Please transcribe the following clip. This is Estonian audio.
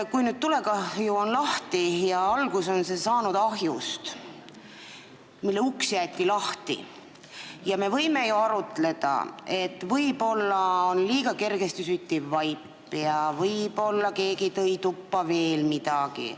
Kui meil on tulekahju ja see on alguse saanud ahjust, mille uks jäeti lahti, siis me võime ju arutleda, et võib-olla oli seal liiga kergesti süttiv vaip või keegi tõi tuppa midagi.